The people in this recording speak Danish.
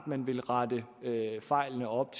man vil rette fejlene op